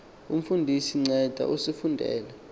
umfundisi nceda usifundele